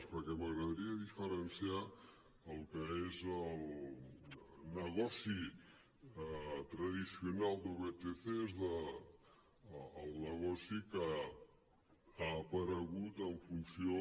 perquè m’agradaria diferenciar el que és el negoci tradicional de vtcs del negoci que ha aparegut en funció